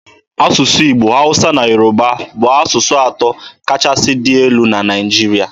Asụsụ Igbo, Hausa na Yoruba bụ asụsụ atọ kachasị dị elu n'ala Naịjirịa.